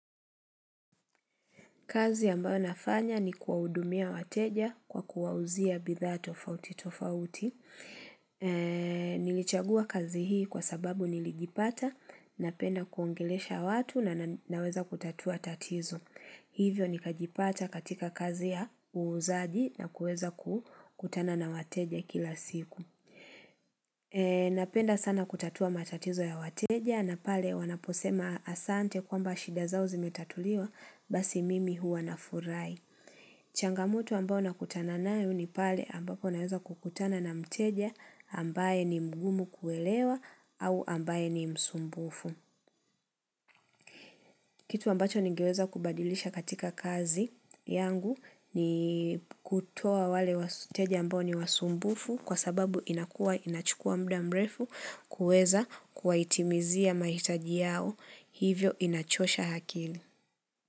Kazi ambayo nafanya ni kuawudumia wateja kwa kuawuzia bidha tofauti tofauti. Nilichagua kazi hii kwa sababu nilijipata napenda kuongelesha watu na naweza kutatua tatizo. Hivyo nikajipata katika kazi ya uuzaji na kueza kukutana na wateja kila siku. Napenda sana kutatua matatizo ya wateja na pale wanaposema asante kwamba shida zao zimetatuliwa. Basi mimi huwa nafurahi changamoto ambao nakutana nayo ni pale ambapo naweza kukutana na mteja ambaye ni mgumu kuelewa au ambaye ni msumbufu Kitu ambacho ningeweza kubadilisha katika kazi yangu ni kutoa wale wateja ambao ni wasumbufu Kwa sababu inakua inachukua muda mrefu kuweza kuwaitimizia maitaji yao hivyo inachosha akili.